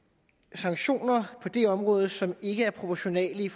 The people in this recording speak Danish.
sanktioner på det område som ikke er proportionale